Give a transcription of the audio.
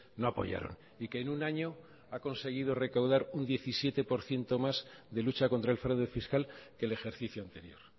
no apoyaron y que en un año ha conseguido recaudar un diecisiete por ciento más de lucha contra el fraude fiscal que el ejercicio anterior